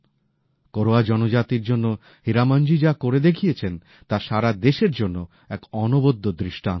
কোরওয়া জনজাতির জন্য হীরামনজি যা করে দেখিয়েছেন তা সারা দেশের জন্য এক অনবদ্য দৃষ্টান্ত